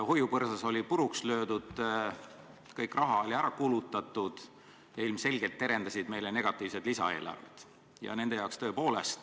Hoiupõrsas oli puruks löödud, kogu raha oli ära kulutatud ja ilmselgelt terendusid meile negatiivsed lisaeelarved.